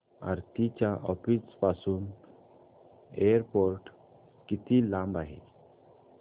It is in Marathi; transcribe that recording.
आरती च्या ऑफिस पासून एअरपोर्ट किती लांब आहे